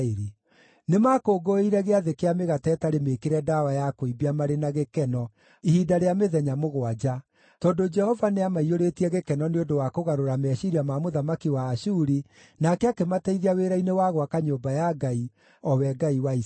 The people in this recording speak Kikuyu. Nĩmakũngũĩire Gĩathĩ kĩa Mĩgate ĩtarĩ Mĩĩkĩre Ndawa ya Kũimbia marĩ na gĩkeno ihinda rĩa mĩthenya mũgwanja, tondũ Jehova nĩamaiyũrĩtie gĩkeno nĩ ũndũ wa kũgarũra meciiria ma mũthamaki wa Ashuri, nake akĩmateithia wĩra-inĩ wa gwaka nyũmba ya Ngai, o we Ngai wa Isiraeli.